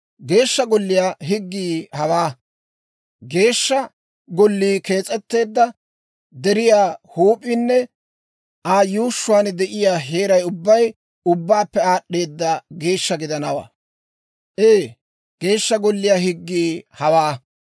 «Geeshsha Golliyaa higgii hawaa: Geeshsha Gollii kees'etteedda deriyaa huup'iinne Aa yuushshuwaan de'iyaa heeray ubbay ubbaappe aad'd'eeda geeshsha gidanawaa. Ee, Geeshsha Golliyaa higgii hawaa.